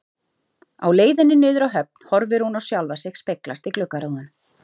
Á leiðinni niður að höfn horfir hún á sjálfa sig speglast í gluggarúðunum.